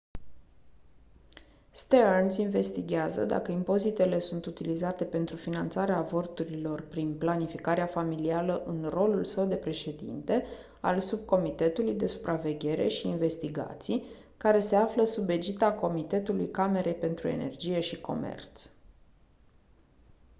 stearns investighează dacă impozitele sunt utilizate pentru finanțarea avorturilor prin planificarea familială în rolul său de președinte al subcomitetului de supraveghere și investigații care se află sub egida comitetului camerei pentru energie și comerț